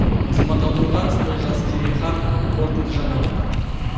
азамат алдоңғаров олжас керейхан қорытынды жаңалықтар